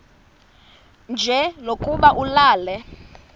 nje lokuba ulale